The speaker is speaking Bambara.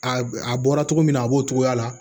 A a bɔra cogo min na a b'o cogoya la